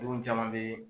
Denw caman be